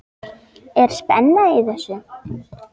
Er spenna í þessu?